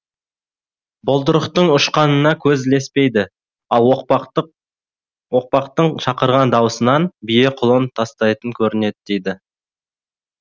бұлдырықтың ұшқанына көз ілеспейді ал оқпақтың шақырған дауысынан бие құлын тастайтын көрінеді дейді